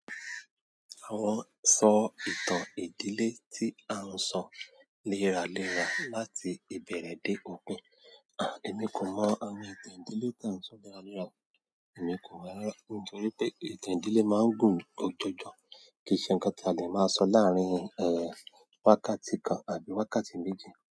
Àwọn sọ ìtàn ìdílé tí à ń sọ léra léra láti ìbẹ̀rẹ̀ dé òpin. Àh, èmi kò mọ àwọn ìtàn ìdílé tà ń sọ léraléra o, èmi kò mọ̀ rara. Nítorí pé ìtàn ìdílé máa ń gùn jojọ, kì í ṣe ǹkan tí a lè máa sọ láàárín, wákàtí kan àbí wákàtí méjì.